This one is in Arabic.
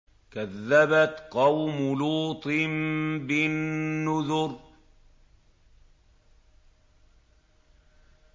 كَذَّبَتْ قَوْمُ لُوطٍ بِالنُّذُرِ